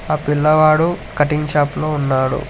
ఆ పిల్లవాడు cutting shop లో ఉన్నాడు.